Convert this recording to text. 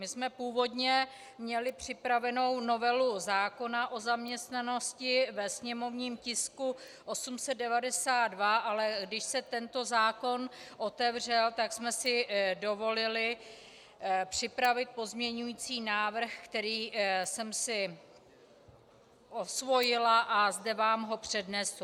My jsme původně měli připravenou novelu zákona o zaměstnanosti ve sněmovním tisku 892, ale když se tento zákon otevřel, tak jsme si dovolili připravit pozměňovací návrh, který jsem si osvojila, a zde vám ho přednesu.